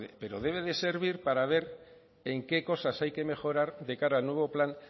pero debe de servir para ver en qué cosas hay que mejorar de cara al nuevo plan